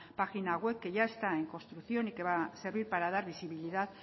página web que ya está en construcción y que va a servir para dar visibilidad